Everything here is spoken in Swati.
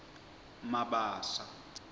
mabasa